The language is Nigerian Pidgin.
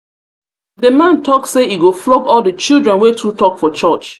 the man talk say he go flog all the children wey too talk for church